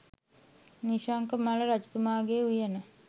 නිශ්ශංකමල්ල රජතුමාගේ උයන